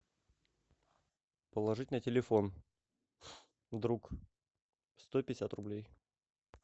положить на телефон друг сто пятьдесят рублей